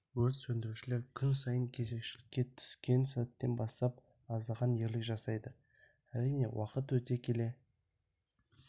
өрт сөндірушілер күн сайын кезекшілікке түскен сәттен бастап аздаған ерлік жасайды әрине уақыт өте келе